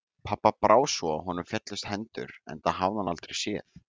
Pabba brá svo að honum féllust hendur, enda hafði hann aldrei séð